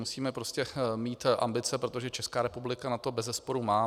Musíme prostě mít ambice, protože Česká republika na to beze sporu má.